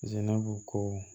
Zinabu ko